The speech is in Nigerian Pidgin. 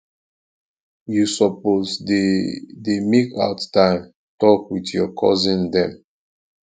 you suppose dey dey make out time tok wit your cousin dem